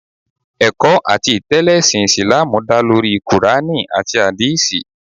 Ẹ̀kọ́ àti ìtẹ́lẹ̀ ẹṣin Ìsìláàmù dá lórí kùránì àti Àdíìsì